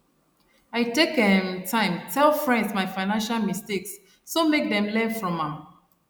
i take um time tell friends my financial mistakes so make dem learn from am